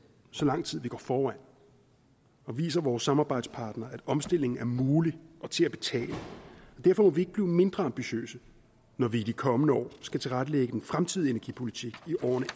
så lang tid vi går foran og viser vores samarbejdspartnere at omstilling er mulig og til at betale derfor må vi ikke blive mindre ambitiøse når vi i de kommende år skal tilrettelægge den fremtidige energipolitik i årene